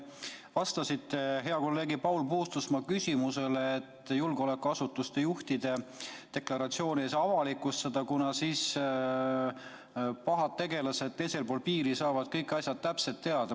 Te vastasite hea kolleegi Paul Puustusmaa küsimusele, et julgeolekuasutuste juhtide deklaratsioone ei saa avalikustada, kuna siis pahad tegelased teisel pool piiri saavad kõik asjad täpselt teada.